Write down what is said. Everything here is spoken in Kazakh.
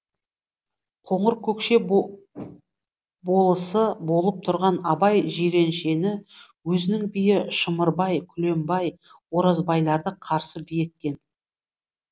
қоңыркөкше болысы болып тұрған абай жиреншені өзінің биі шымырбай күлембай оразбайларды қарсы би еткен